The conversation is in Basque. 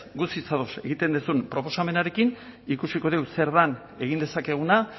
guztiz ados egiten duzun proposamenarekin ikusiko dugu zer den egin dezakeguna